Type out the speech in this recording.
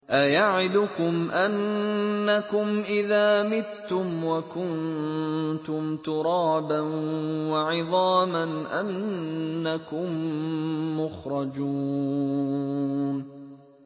أَيَعِدُكُمْ أَنَّكُمْ إِذَا مِتُّمْ وَكُنتُمْ تُرَابًا وَعِظَامًا أَنَّكُم مُّخْرَجُونَ